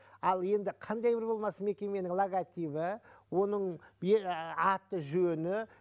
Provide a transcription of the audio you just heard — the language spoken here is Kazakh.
ал енді қандай бір болмасын мекеменің логотипі оның аты жөні